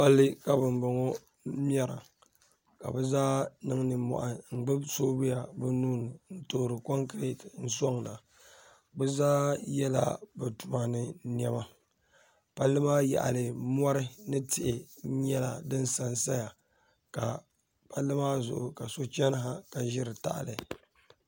Palli ka bambɔŋɔ mɛra ka bɛ zaa niŋ nimmɔhi n-gbubi soovuya bɛ nuhi ni n-toori kɔŋkireeti n-sɔŋda bɛ zaa yɛla bɛ tuma ni nɛma palli maa yaɣili mɔri ni tihi nyɛla din sansaya ka palli maa zuɣu ka so chani ha ka ʒiri tahili